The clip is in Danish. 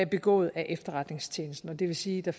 begået af efterretningstjenesten det vil sige at